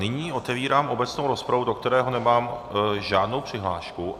Nyní otevírám obecnou rozpravu, do které nemám žádnou přihlášku.